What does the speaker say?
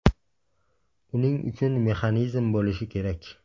Uning uchun mexanizm bo‘lishi kerak.